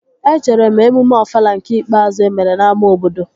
Ejere m emume Ofala nke ikpeazụ emere n'ámá obodo